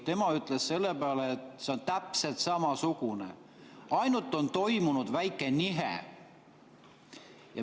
Tema ütles selle peale, et see on täpselt samasugune, ainult et toimunud on väike nihe.